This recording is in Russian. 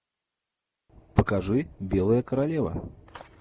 покажи белая королева